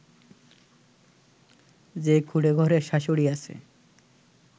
যে কুঁড়েঘরে শাশুড়ী আছে